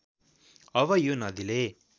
अब यो नदीले